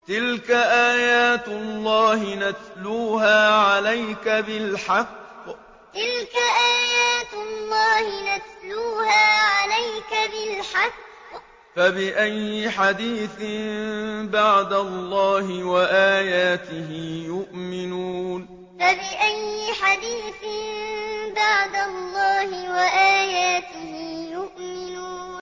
تِلْكَ آيَاتُ اللَّهِ نَتْلُوهَا عَلَيْكَ بِالْحَقِّ ۖ فَبِأَيِّ حَدِيثٍ بَعْدَ اللَّهِ وَآيَاتِهِ يُؤْمِنُونَ تِلْكَ آيَاتُ اللَّهِ نَتْلُوهَا عَلَيْكَ بِالْحَقِّ ۖ فَبِأَيِّ حَدِيثٍ بَعْدَ اللَّهِ وَآيَاتِهِ يُؤْمِنُونَ